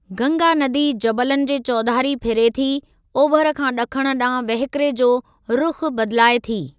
गंगा नदी जबलनि जे चौधारी फिरे थी, ओभर खां ॾिखण ॾांहुं वहकिरे जो रुख़ु बदिलाए थी।